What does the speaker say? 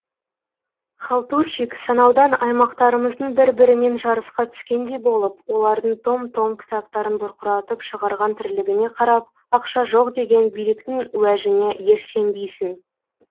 халтуршик санаудан аймақтарымыздың бір бірімен жарысқа түскендей болып олардың том том кітаптарын бұрқыратып шығарған тірлігіне қарап ақша жоқ деген биліктің уәжіне еш сенбейсің